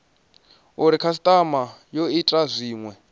uri khasitama yo ita zwinwe